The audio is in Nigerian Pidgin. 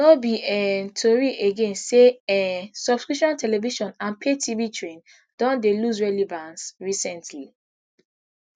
no be um tori again say um subscription television and pay tv train don dey lose relevance recently